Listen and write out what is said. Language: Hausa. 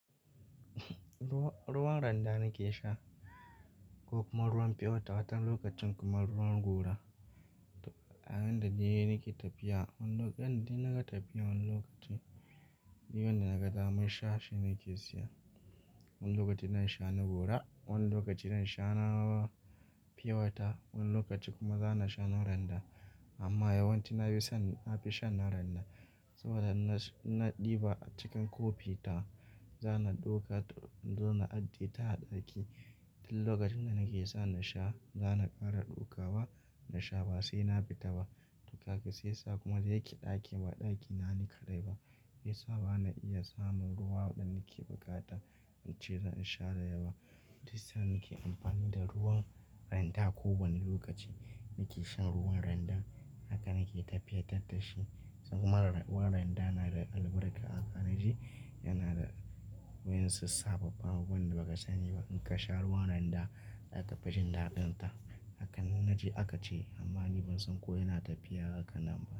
Ruwan randa nake sha ko kuma ruwan purewater watan okacin kuma ruwan gora. Yanda dai nake tafiya, wani lokacin da na ga tafiya wani lokaci, duk wanda na ga daman sha shi nake siya. Wani lokaci na sha na gora, wani lokaci na sha na pure water, wani lokaci kuma za na sha na randa. Amma yawanci na fi son, na fi shan na randa, saboda na ɗiba a cikin kofi ta, za na ɗauka na zo na ajiye ta ɗaki. Duk lokacin da nake so na sha, za na ƙara ɗaukawa na sha ba sai na fita ba. Duk kaga saiya sa kuma dayake ɗaki ba ɗaki na ni kaɗai ba. Saj sa ba na iya samun ruwa wanda nake buƙata in ce zan sha da yawa. Dissa nake amfani da ruwan randa ko wani lokaci nake shan ruwan randa. Haka nake tafiye ta dashi kuma ruwan randa na da albarka haka naje yana da wayansu sababbun abubuwan da ba ka sani ba. In ka sha ruwan randa zaka fi jin daɗin ta. Haka inna naje aka ce amma ni ban san ko yana tafiya haka nan ba.